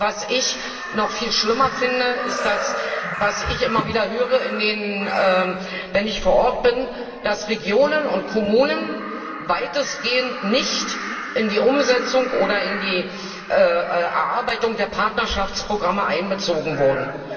Was ich aber noch viel schlimmer finde, ist das, was ich immer wieder höre, wenn ich vor Ort bin, dass Regionen und Kommunen weitestgehend nicht in die Umsetzung oder in die Erarbeitung der Partnerschaftsprogramme einbezogen wurden.